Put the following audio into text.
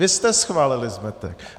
Vy jste schválili zmetek.